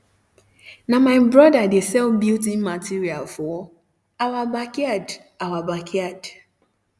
um na my broda de sell building material for our backyard our backyard